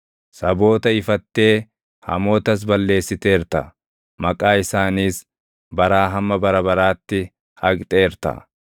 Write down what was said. Saboota ifattee hamootas balleessiteerta; maqaa isaaniis baraa hamma bara baraatti haqxeerta.